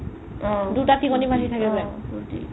অ দুটা তিকনি বান্ধি তাকে যে